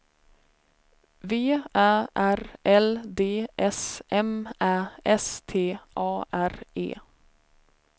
V Ä R L D S M Ä S T A R E